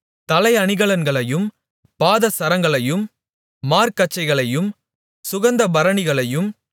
தலை அணிகலன்களையும் பாதசரங்களையும் மார்க்கச்சைகளையும் சுகந்தபரணிகளையும்